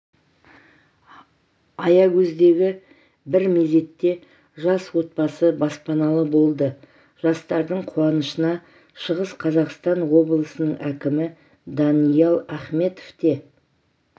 аягөздегі бір мезетте жас отбасы баспаналы болды жастардың қуанышына шығыс қазақстан облысының әкімі даниал ахметов те